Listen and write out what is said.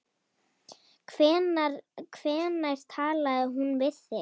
Hvenær talaði hún við þig?